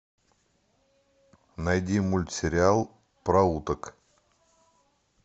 найди мультсериал про уток